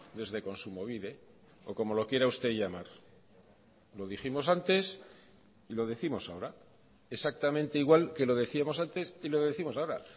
desde kontsumobide o como lo quiera usted llamar lo dijimos antes y lo décimos ahora exactamente igual que lo decíamos antes y lo décimos ahora